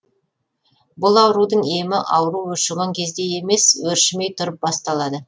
бұл аурудың емі ауру өршіген кезде емес өршімей тұрып басталады